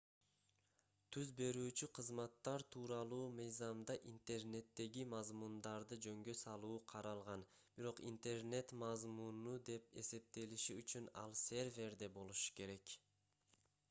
түз берүүчү кызматтар тууралуу мыйзамда интернеттеги мазмундарды жөнгө салуу каралган бирок интернет мазмуну деп эсептелиши үчүн ал серверде болушу керек